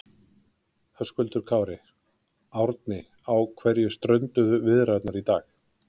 Höskuldur Kári: Árni á hverju strönduðu viðræðurnar í dag?